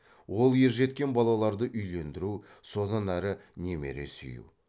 ол ержеткен балаларды үйлендіру содан әрі немере сүю